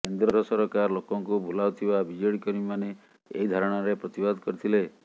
କେନ୍ଦ୍ର ସରକାର ଲୋକଙ୍କୁ ଭୁଲାଉଥିବା ବିଜେଡି କର୍ମୀମାନେ ଏହି ଧାରଣାରେ ପ୍ରତିବାଦ କରିଥିଲେ